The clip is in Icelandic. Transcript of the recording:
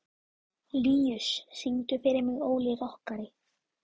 Líus, syngdu fyrir mig „Óli rokkari“.